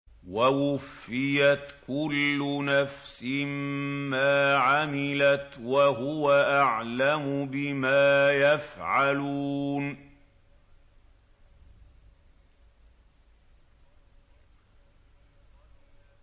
وَوُفِّيَتْ كُلُّ نَفْسٍ مَّا عَمِلَتْ وَهُوَ أَعْلَمُ بِمَا يَفْعَلُونَ